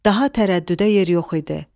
Daha tərəddüdə yer yox idi.